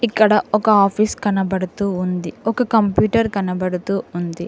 ఇక్కడ ఒక ఆఫీస్ కనబడుతూ ఉంది ఒక కంప్యూటర్ కనబడుతూ ఉంది.